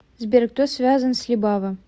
сбер кто связан с либава